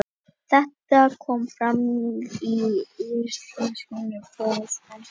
Þetta kom fram í yfirlýsingu frá Spænska réttinum.